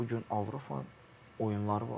Bu gün Avropanın oyunları var.